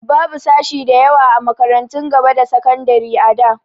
Babu sashi da yawa a makarantun gaba da sakandari da.